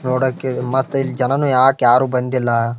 ನೋಡೋಕೆ ಮತ್ತ್ ಇಲ್ಲ ಜನನು ಯಾಕ್ ಯಾರು ಬಂದಿಲ್ಲ.